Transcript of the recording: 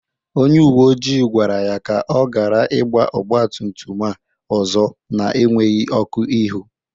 Onye uwe ojii gwara ya ka ọ gara igba ọgbatumtum a ọzọ na-enweghi ọkụ ihu.